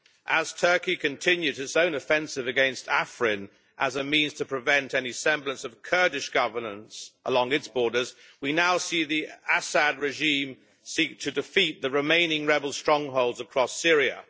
As Turkey continues its own offensive against Afrin as a means to prevent any semblance of Kurdish governance along its borders, we now see the Assad regime seek to defeat the remaining rebel strongholds across Syria.